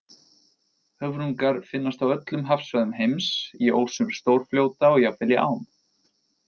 Höfrungar finnast á öllum hafsvæðum heims, í ósum stórfljóta og jafnvel í ám.